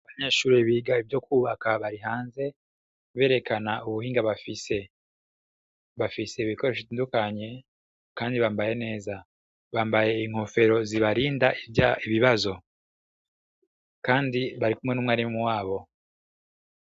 Abanyeshure biga ivyo kwubaka bari hanze berekana ubuhinga bafise, bafise ibikoresho bitandukanye, kandi bambaye neza, bambaye inkofero zibarinda ibibazo, kandi barikumwe n'umwarimu wabo.